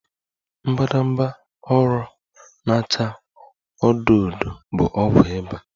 Mbadamba ụrọ na-acha odo odo bụ ọgwụ ịba